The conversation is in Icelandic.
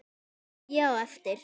Og ég á eftir.